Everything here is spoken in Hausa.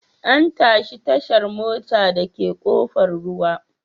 An tashi tashar motar dake Kofar ruwa.